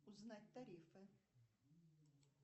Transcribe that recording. узнать тарифы